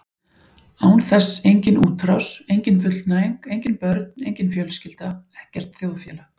Án þess engin útrás, engin fullnæging, engin börn, engin fjölskylda, ekkert þjóðfélag.